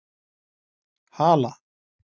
Hala